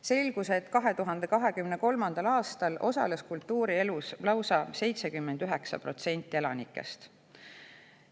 Selgus, et 2023. aastal osales kultuurielus lausa 79% elanikest.